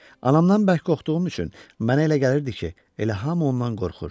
Anamdan bərk qorxduğum üçün mənə elə gəlirdi ki, elə hamı ondan qorxur.